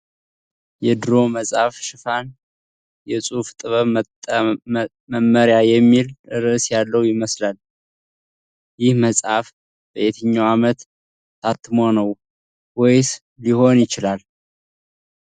የድሮ መጽሐፍ ሽፋን "የጽሁፍ ጥበብ መመሪያ " የሚል ርዕስ ያለው ይመስላል። ይህ መጽሐፍ በየትኛው ዓመት ታትሞ ነው ወይስ ሊሆን ይችላል?